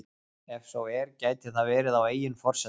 Ef svo er gæti það verið á eigin forsendum?